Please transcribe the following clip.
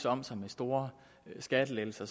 om sig med store skattelettelser